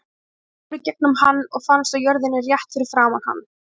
Annað fór í gegnum hann og fannst á jörðinni rétt fyrir framan hann.